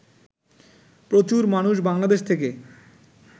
প্রচুর মানুষ বাংলাদেশ থেকে